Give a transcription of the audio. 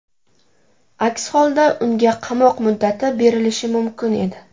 Aks holda unga qamoq muddati berilishi mumkin edi.